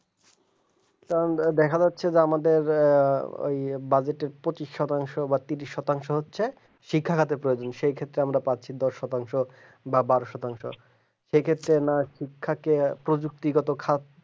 কারণ দেখা যাচ্ছে যে আমাদের এই বাজেটে পঁচিশ শতাংশ বাট ত্রিশ শতাংশ হচ্ছে শিক্ষাগত প্রয়োজন সেক্ষেত্রে আমরা পাচ্ছি দশ শতাংশ বা বারো শতাংশ সে ক্ষেত্রে আমরা শিক্ষা কে প্রযুক্তিগত খাত